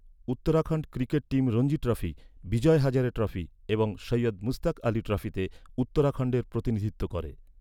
Uttarakhand cricket team Ranji trophy, Vijay Hazare trophy এবং সৈয়দ মুশতাক আলি ট্রফিতে উত্তরাখণ্ডের প্রতিনিধিত্ব করে।